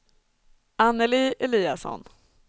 Anneli Eliasson